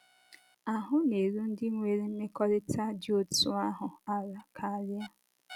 Ahụ́ na- érú ndị nwere mmekọrịta dị otú ahụ ala karịa.